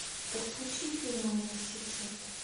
подключи фильм университет